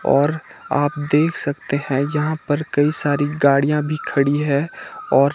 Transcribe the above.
और आप देख सकते हैं यहां पर कई सारी गाड़ियां भी खड़ी है और--